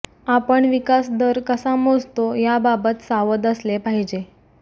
आपण विकास दर कसा मोजतो याबाबत सावध असले पाहिजे